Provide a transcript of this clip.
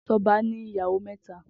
Toba ni iyàwó mètá